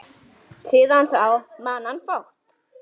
Síðan þá man hann fátt.